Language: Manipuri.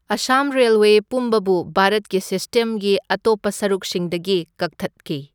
ꯑꯥꯁꯥꯝ ꯔꯦꯜꯋꯦ ꯄꯨꯝꯕꯕꯨ ꯚꯥꯔꯠꯀꯤ ꯁꯤꯁꯇꯦꯝꯒꯤ ꯑꯇꯣꯞꯄ ꯁꯔꯨꯛꯁꯤꯡꯗꯒꯤ ꯀꯛꯊꯠꯈꯤ꯫